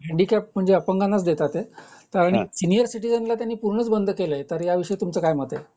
Handicap म्हणजे अपांगनाच देतात आहे आणि सीनियर सिटिजन ला त्यांनी पूर्णच बंद केलंय तर ह्या विषयी तुमच काय मत्त आहे ?